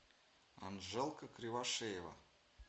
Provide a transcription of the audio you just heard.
анжелка кривошеева